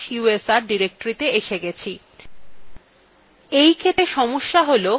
হ্যাঁ আমরা slash usr directoryyes yes গেছি